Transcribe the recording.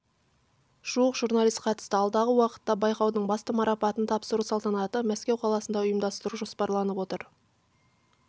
жуық журналист қатысты алдағы уақытта байқаудың басты марапатын тапсыру салтанатын мәскеу қаласында ұйымдастыру жоспарланып отыр